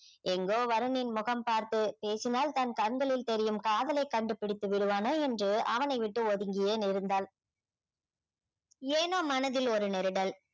எங்கோ வருணின் முகம் பார்த்து பேசினால் தன் கண்களில் தெரியும் காதலை கண்டுபிடித்து விடுவானோ என்று அவனைவிட்டு ஒதுங்கியே இருந்தாள் ஏனோ மனதில் ஒரு நெருடல்